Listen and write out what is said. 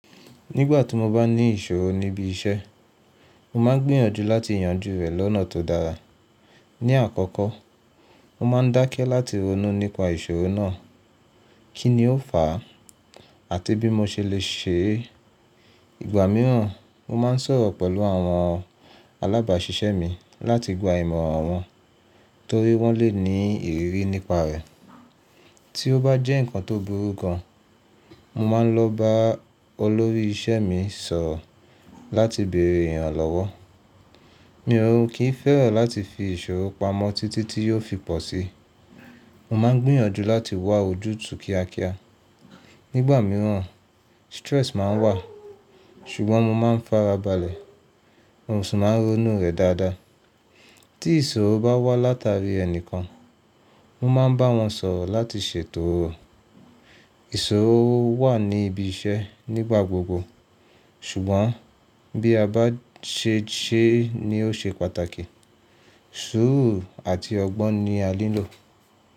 Nígbà tí mo bá ní ìṣòro níbi iṣẹ́, mo máa ń gbíyànjú láti yanjú rẹ̀ lọ́nà tó dára. Ní àkọ́kọ́, mo máa ń dákẹ́ láti ronú nípa ìṣòro náà, kí ni ó fàá àti bí mo ṣe lè ṣe Ìgbà mìíràn, mo máa ń sọ̀rọ̀ pẹ̀lú àwọn alábàáṣiṣẹ́ mi láti gba ìmọ̀ràn wọn torí wọ́n lè ní ìrírí nípa rẹ̀. Tí ó bá jẹ́ ǹkan tó burú gan, mo máa ń lọ bá olórí iṣẹ́ mi sọ̀rọ̀ láti bèrè ìrànlọ́wọ́. Mí ò kí ń fẹ́ràn láti fi ìṣòro pamọ́ títí tí yóò fi pọ̀ síi. Mo máa ń gbìyànjú láti wá ojú tu kíákíá. Nígbà mìíràn stress máa ń wà, ṣùgbọ́n mo máa ń farabalẹ̀. Mo sì máa ń ronú rẹ̀ dáadáa. Tí ìṣòro bá wá látàrí ẹnìkan, mo máa ń bá wọn sọ̀rọ̀ láti ṣètò Ìṣòro wà ní ibi iṣẹ́ nígbà gbogbo ṣùgbọ́n bí a bá ṣe é ṣe ni ó ṣe pàtàkì. Sùúrù àti ọgbọ́n ni a ní lò.